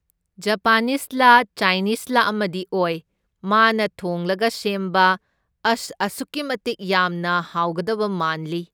ꯖꯄꯥꯅꯤꯁꯂꯥ ꯆꯥꯏꯅꯤꯁꯂꯥ ꯑꯃꯗꯤ ꯑꯣꯏ, ꯃꯥꯅ ꯊꯣꯡꯂꯒ ꯁꯦꯝꯕ ꯑꯁ ꯑꯁꯨꯛꯀꯤ ꯃꯇꯤꯛ ꯌꯥꯝꯅ ꯍꯥꯎꯒꯗꯕ ꯃꯥꯟꯂꯤ꯫